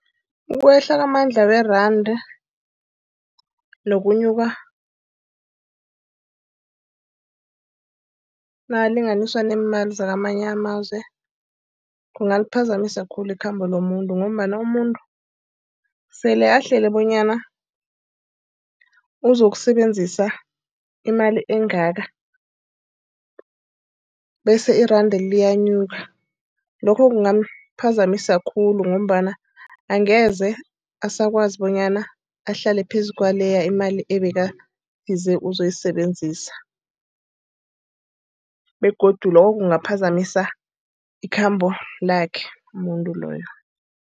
Ukwehla kwamandla weranda nokunyuka nakulinganiswa nemali zakwamanye amazwe, kungaliphazamisa khulu ikhambo lomuntu ngombana umuntu sele ahlele bonyana uzokusebenzisa imali engaka. Bese iranda liyanyuka. Lokhu kungaphazamiseka khulu ngombana angeze abasakwazi bonyana ahlale phezu kwaleya imali ebekathi uzoyisebenzisa. Begodu lokhu kungaphazamiseka ikhambo lakhe umuntu loyo.